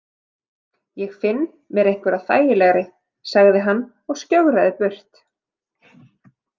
Ég finn mér einhverja þægari, sagði hann og skjögraði burt.